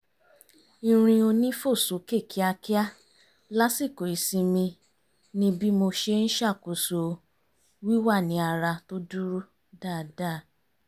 irin onífòsókè kíákíá lásìkò ìsinmi ni bí mo ṣe ń ṣàkóso wíwà ní ara tó dúró dáadáa